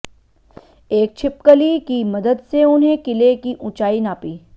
एक छिपकली की मदद से उन्हें किले की ऊंचाई नापी